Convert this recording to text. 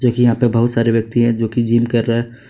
देखिए यहां पे बहुत सारे व्यक्ति है जो कि जिम कर रहे है।